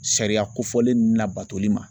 Sariya kofɔlen ninnu labatoli ma.